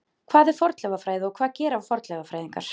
Hvað er fornleifafræði og hvað gera fornleifafræðingar?